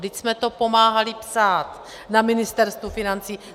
Vždyť jsme to pomáhali psát na Ministerstvu financí.